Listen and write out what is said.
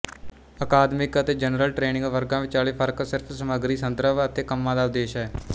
ਅਕਾਦਮਿਕ ਅਤੇ general training ਵਰਗਾਂ ਵਿਚਾਲੇ ਫਰਕ ਸਿਰਫ ਸਮੱਗਰੀ ਸੰਦਰਭ ਅਤੇ ਕੰਮਾਂ ਦਾ ਉਦੇਸ਼ ਹੈ